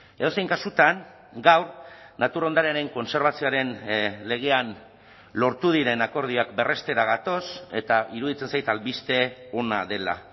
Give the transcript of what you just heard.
edozein kasutan gaur natur ondarearen kontserbazioaren legean lortu diren akordioak berrestera gatoz eta iruditzen zait albiste ona dela